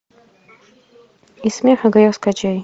и смех и грех скачай